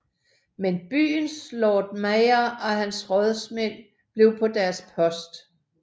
Men byens Lord Mayor og hans rådmænd blev på deres post